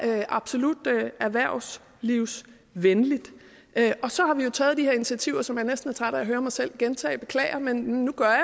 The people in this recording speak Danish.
absolut erhvervslivsvenligt og så har vi taget de her initiativer som jeg næsten er træt af at høre mig selv gentage beklager men nu gør jeg